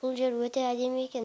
бұл жер өте әдемі екен